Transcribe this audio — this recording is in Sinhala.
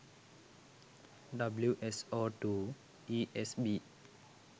wso2 esb